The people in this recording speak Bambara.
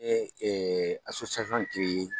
in